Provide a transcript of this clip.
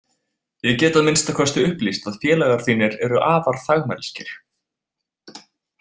Ég get að minnsta kosti upplýst að félagar þínir eru afar þagmælskir.